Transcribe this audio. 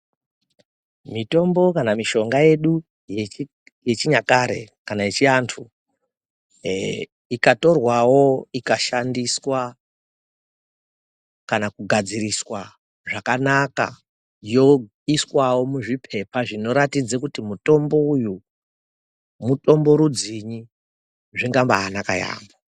Mitombo kana mishonga yedu yechinyakare kana yechiantu, ikatorwawo ikashandiswa kana kugadziriswa zvakanaka, yoiswawo muzviphepa zvinoratidza kuti mutombo uyu mutombo rudzinyi, zvingabaanaka yaamho.